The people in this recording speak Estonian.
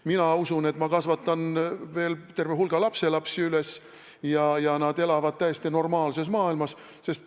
Mina usun, et ma kasvatan veel terve hulga lapselapsi üles ja nad elavad täiesti normaalses maailmas.